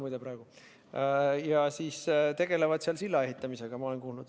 Ma olen kuulnud, et nad tegelevad seal silla ehitamisega.